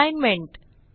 assignment